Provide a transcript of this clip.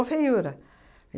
feiura.